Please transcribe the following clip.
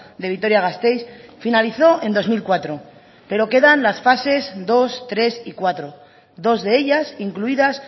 de vitoria gasteiz finalizó en dos mil cuatro pero quedan las fases dos tres y cuatro dos de ellas incluidas